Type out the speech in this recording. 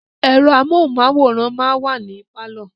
Ẹ̀rọ amóhunmáwòrán máa ń wà ní pálọ̀